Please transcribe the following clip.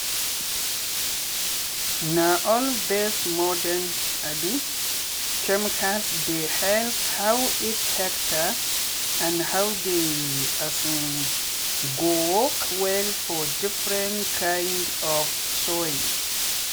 na all these mordern um chemicals dey help how each hectare and how dey um go work well for different kind of soil.